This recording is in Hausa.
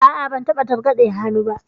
A'a, ban taɓa targaɗe a hannuna ba.